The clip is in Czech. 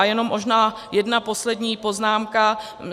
A jenom možná jedna poslední poznámka.